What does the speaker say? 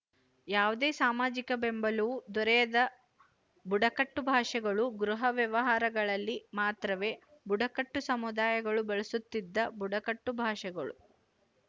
ಯಾವುದೇ ಸಾಮಾಜಿಕ ಬೆಂಬಲವೂ ದೊರೆಯದ ಬುಡಕಟ್ಟು ಭಾಷೆಗಳು ಗೃಹ ವ್ಯವಹಾರಗಳಲ್ಲಿ ಮಾತ್ರವೇ ಬುಡಕಟ್ಟು ಸಮುದಾಯಗಳು ಬಳಸುತ್ತಿದ್ದ ಬುಡಕಟ್ಟು ಭಾಷೆಗಳು